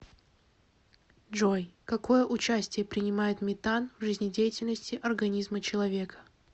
джой какое участие принимает метан в жизнедеятельности организма человека